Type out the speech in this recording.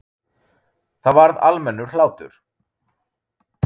Það varð almennur hlátur.